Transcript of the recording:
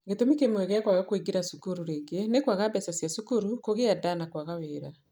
Gĩtũmi kĩmwe gĩa kwaga kũingĩra cukuru rĩngĩ nĩ kwaga mbeca cia cukuru, kũgĩa nda, na kwaga wĩra.